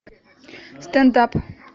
стендап